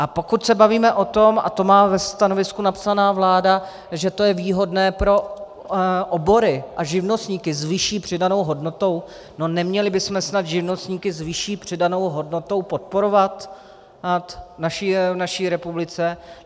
A pokud se bavíme o tom, a to má ve stanovisku napsané vláda, že to je výhodné pro obory a živnostníky s vyšší přidanou hodnotou, no neměli bychom snad živnostníky s vyšší přidanou hodnotou podporovat v naší republice?